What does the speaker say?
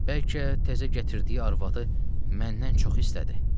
Bəlkə təzə gətirdiyi arvadı məndən çox istədi?